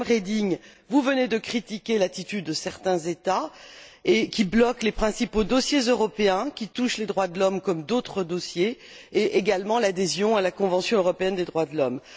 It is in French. Madame Reding, vous venez de critiquer l'attitude de certains États qui bloquent les principaux dossiers européens qui touchent les droits de l'homme, comme d'autres dossiers, ainsi que l'adhésion à la Convention européenne des droits de l'homme.